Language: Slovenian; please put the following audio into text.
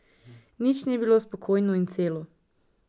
Nič ni bilo spokojno in celo.